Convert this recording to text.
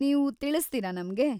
ನೀವು ತಿಳಿಸ್ತೀರಾ ನಮ್ಗೆ?